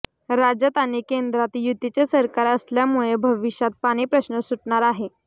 राज्यात आणि केंद्रात युतीचे सरकार असल्यामुळे भविष्यात पाणी प्रश्न सुटणार आहे